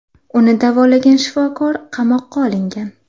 Uni davolagan shifokor qamoqqa olingan.